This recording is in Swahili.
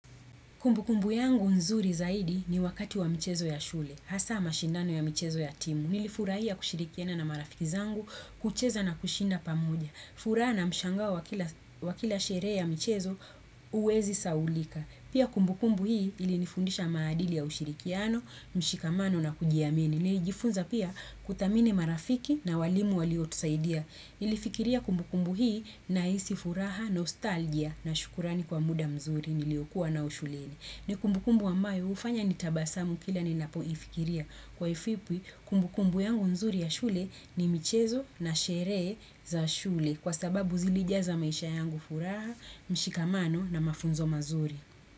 Kumbukumbu yangu nzuri zaidi ni wakati wa mchezo ya shule, hasa mashindano ya michezo ya timu. Nilifurahia kushirikiana na marafiki zangu, kucheza na kushinda pamoja. Furaha na mshangao wa kila sherehe ya michezo uwezi sahaulika. Pia kumbukumbu hii ilinifundisha maadili ya ushirikiano, mshikamano na kujiamini. Nilijifunza pia kuthamini marafiki na walimu waliotusaidia. Nilifikiria kumbukumbu hii nahisi furaha, nostalgia na shukrani kwa muda mzuri niliokuwa nao shuleni. Ni kumbukumbu ambayo hufanya nitabasamu kila ninapoifikiria. Kwa ufupi kumbukumbu yangu nzuri ya shule ni michezo na sherehe za shule. Kwa sababu zilijaza maisha yangu furaha, mshikamano na mafunzo mazuri.